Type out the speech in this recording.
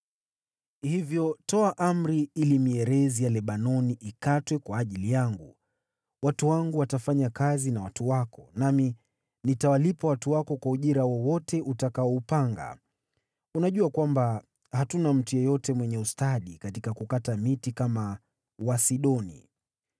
“Hivyo toa amri ili mierezi ya Lebanoni ikatwe kwa ajili yangu. Watu wangu watafanya kazi na watu wako, nami nitawalipa watu wako kwa ujira wowote utakaoupanga. Unajua kwamba hatuna mtu yeyote mwenye ustadi katika kukata miti kama Wasidoni.”